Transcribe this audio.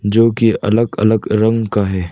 जो की अलग अलग रंग का है।